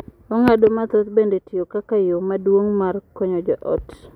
Oganda mathoth bende tiyo kaka yo maduong’ mar konyo joot.